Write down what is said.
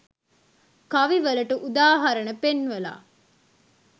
කවි වලට උදාහරණ පෙන්වලා